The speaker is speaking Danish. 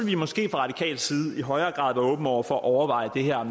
vi måske fra radikal side i højere grad være åbne over for at overveje det her